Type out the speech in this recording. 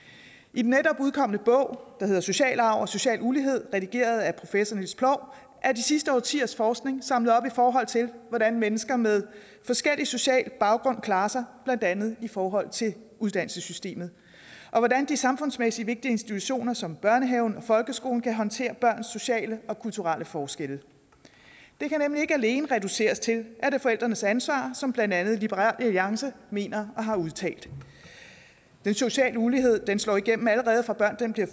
i den netop udkomne bog der hedder social arv og social ulighed redigeret af professor niels ploug er de sidste årtiers forskning samlet op i forhold til hvordan mennesker med forskellig social baggrund klarer sig blandt andet i forhold til uddannelsessystemet og hvordan de samfundsmæssige vigtige institutioner som børnehave og folkeskole kan håndtere børns sociale og kulturelle forskelle det kan nemlig ikke alene reduceres til at det er forældrenes ansvar som blandt andet liberal alliance mener og har udtalt den sociale ulighed slår igennem allerede fra børnene bliver